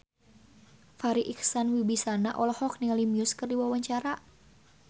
Farri Icksan Wibisana olohok ningali Muse keur diwawancara